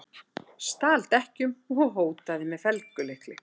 Stal dekkjum og hótaði með felgulykli